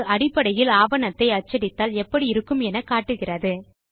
இது அடிப்படையில் ஆவணத்தை அச்சடித்தால் எப்படி இருக்கும் என்று காட்டுகிறது